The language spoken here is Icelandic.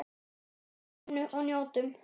Hvílum í undrinu og njótum.